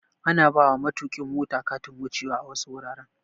Ana bawa matokin mota Katin wuce wa a wasu wuraren